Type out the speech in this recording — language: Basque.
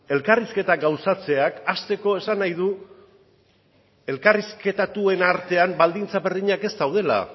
elkarrizketak gauzatzeak hasteko esan nahi du elkarrizketatuen artean baldintza berdinak ez daudela